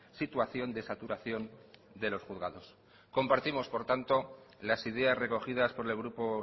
situación de saturación de los juzgados compartimos por tanto las ideas recogidas por el grupo